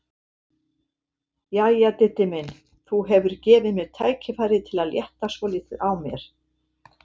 Jæja, Diddi minn, þú hefur gefið mér tækifæri til að létta svolítið á mér.